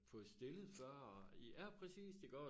Fået stillet før og ja præcist iggå og